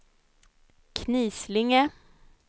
Knislinge